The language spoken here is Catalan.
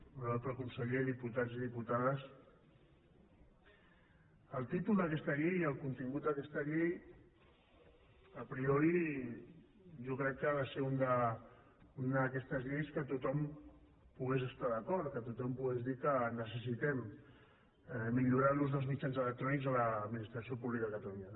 honorable conseller diputats i diputades el títol d’aquesta llei i el contingut d’aquesta llei a priori jo crec que ha de ser una d’aquestes lleis que tothom hi pogués estar d’acord que tothom pogués dir que necessitem millorar l’ús dels mitjans electrònics a l’administració pública de catalunya